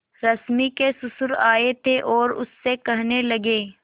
रश्मि के ससुर आए थे और उससे कहने लगे